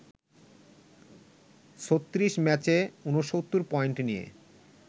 ৩৬ ম্যাচে ৬৯ পয়েন্ট নিয়ে